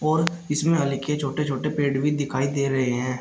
और इसमें हल्के छोटे छोटे पेड़ दिखाई दे रहे हैं।